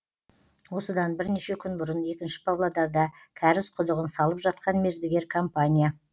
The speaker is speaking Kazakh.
осыдан бірнеше күн бұрын екінші павлодарда кәріз құдығын салып жатқан мердігер компания